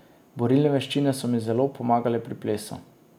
Borilne veščine so mi zelo pomagale pri plesu.